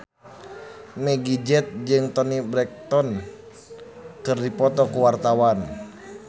Meggie Z jeung Toni Brexton keur dipoto ku wartawan